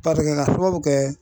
Paseke ka sababu kɛ